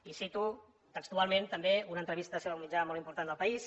i cito textualment també una entrevista seva a un mitjà molt important del país